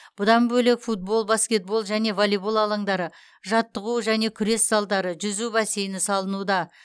бұдан бөлек футбол баскетбол және волейбол алаңдары жаттығу және күрес залдары жүзу бассейні салынуда